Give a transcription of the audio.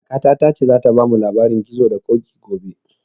Kakata ta ce za ta bamu labarin gizo da koƙi gobe